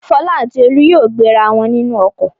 Fọlá àti Olú yóò gbéra wọn nínú ọkọ̀.